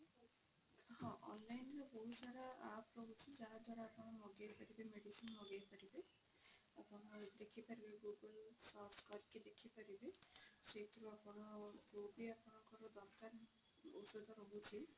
ହଁ online ରେ ବହୁତ ସାରା app ରହୁଛି ଯାହା ଦ୍ଵାରା ଆପଣ ମଗେଇ ପାରିବେ medicine ମଗେଇ ପାରିବେ ଆପଣ ଦେଖି ପାରିବେ google search କରିକି ଦେଖି ପାରିବେ ସେଇଥିରୁ ଆପଣ ଯୋଉ ବି ଆପଣଙ୍କର ଦରକାର ଔଷଧ ରହୁଛି